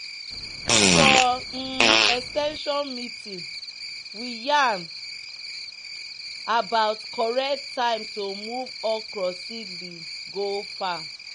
"for um ex ten sion meeting we yarn about correct time to move okra seedling go farm."